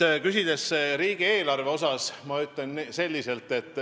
Te küsisite riigieelarve kohta.